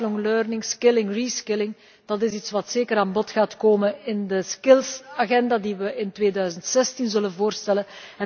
Lifelong learning skilling reskilling dat is iets wat zeker aan bod gaat komen in de skills agenda die we in 2016 zullen voorstellen.